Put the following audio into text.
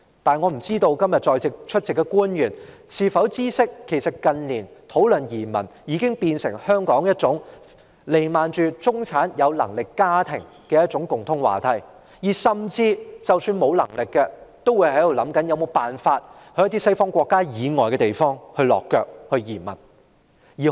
不過，我不知今天出席的官員是否知悉，近年討論移民已成為香港有能力的中產家庭的共通話題，而即使沒有能力的，亦會設法到一些西方國家以外的國家落腳和移民。